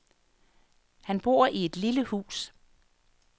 Han bor i et lille hus.